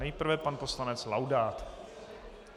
Nejprve pan poslanec Laudát.